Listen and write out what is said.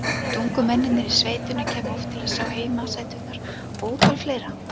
Hvort ungu mennirnir í sveitinni kæmu oft til að sjá heimasæturnar og ótal fleira.